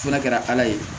Fana kɛra ala ye